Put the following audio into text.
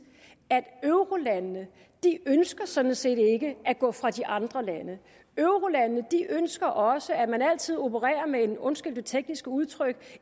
at eurolandene sådan set ikke at gå fra de andre lande eurolandene ønsker også at man altid opererer med en undskyld det tekniske udtryk